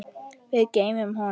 Við gleymum honum!